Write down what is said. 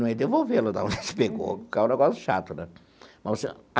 Não ia devolver lá da onde a gente pegou, porque era um negócio chato, né? Mas assim ó.